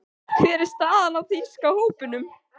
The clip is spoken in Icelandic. Hver er staðan á þýska hópnum?